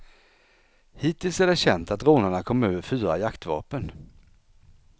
Hittills är det känt att rånarna kom över fyra jaktvapen.